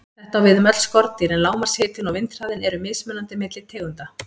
Þetta á við um öll skordýr, en lágmarkshitinn og vindhraðinn eru mismunandi milli tegunda.